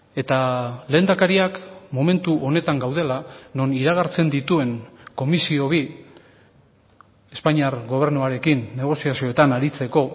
eta lehendakariak momentu honetan gaudela non iragartzen dituen komisio bi espainiar gobernuarekin negoziazioetan aritzeko